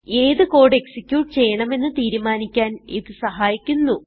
ഏത് code execute ചെയ്യണമെന്ന് തീരുമാനിക്കാൻ ഇത് സഹായിക്കുന്നു